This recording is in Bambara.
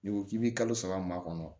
N'i ko k'i bɛ kalo saba maa kɔnɔ